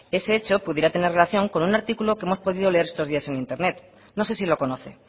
ese hecho pudiera tener relación con un articulo que hemos podido leer estos días en internet no sé si lo conoce